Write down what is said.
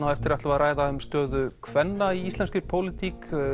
á eftir ætlum við að ræða um stöðu kvenna í íslenskri pólitík